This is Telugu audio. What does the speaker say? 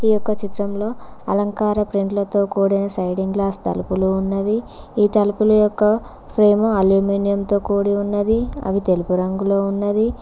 ఈ ఒక్క చిత్రంలో అలంకార ప్రింట్ల తో కూడిన సైడింగ్ గ్లాస్ తలుపులు ఉన్నవి ఈ తలుపులు యొక్క ఫ్రేము అల్యూమినియం తో కూడి ఉన్నది అవి తెలుపు రంగులో ఉన్నది.